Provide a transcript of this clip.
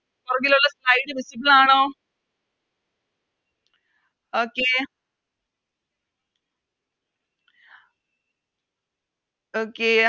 പൊറകിലൊള്ളോർക് Slide visible ആണൊ Okay Okay